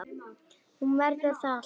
Hún verður það alltaf